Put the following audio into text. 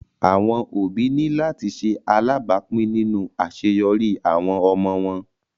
Awọn obi ni lati ṣe alabapin ninu aṣeyọri awọn ọmọ wọn